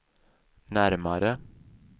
närmare